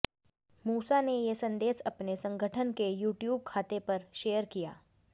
मूसा ने ये संदेश अपने संगठन के यूट्यूब खातेपर पर शेयर किया